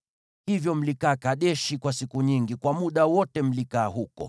Hivyo mlikaa Kadeshi kwa siku nyingi, kwa muda ule wote mliokaa huko.